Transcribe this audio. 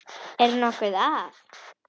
Er nokkuð að?